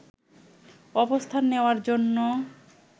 অবস্থান নেওয়ার জন্য